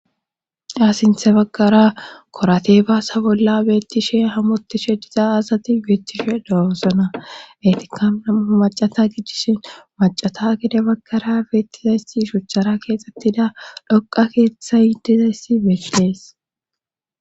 asinthe baggara korate baasa bolla beettishe hamotishe diza azati geettishe daosona etikama macata gidishe macata gede baggara beettizayssi shuchchara keexxettida dhoqa keeththa yiddizayssi beethilees